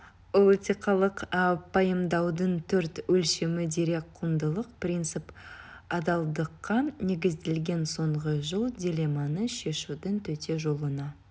ол этикалық пайымдаудың төрт өлшемі дерек құндылық принцип адалдыққа негізделген соңғы жол дилемманы шешудің төте жолына